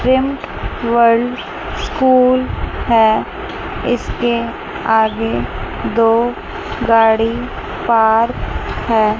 World school है इसके आगे दो गाड़ी पार्क है।